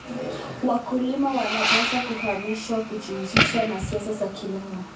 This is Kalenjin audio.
Wakulima wanapaswa kuhamasishwa kujihusisha na siasa za kilimo.